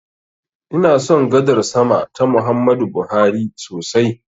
Ina son gadar sama ta Muhammadu Buhari sosai.